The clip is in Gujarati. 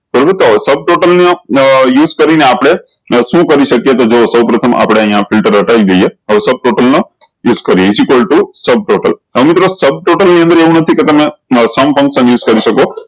બરોબર તો sub total ના use કરી ને આપળે શું કરી સક્યે તો જુવો સૌ પ્રથમ આપળે અયીયા ફિલ્ટર હ્ટાયી દિયે અને sub total મા use કરીએ is equal to હવે મિત્રો sub total ની અંદર એવું નથી કે તમે પણ સમી કરી શકો